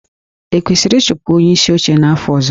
E kwesịrị ịchụpụ onyeisi oche n'afọ ọzọ?